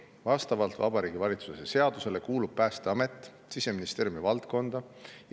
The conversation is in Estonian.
Vastavalt Vabariigi Valitsuse seadusele kuulub Päästeamet Siseministeeriumi valdkonda.